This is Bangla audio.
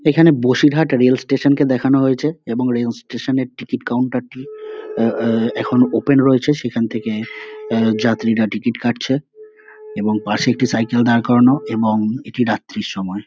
এখানে বসিরহাট রেল স্টেশন -কে দেখানো হয়েছে এবং রেল স্টেশন -এর টিকিট কাউন্টার - টি আহ আহ এখনও ওপেন রয়েছে। সেখান থেকে আহ যাত্রীরা টিকিট কাটছে এবং পাশে একটি সাইকেল দাঁড় করানো এবং এটি রাত্রির সময়।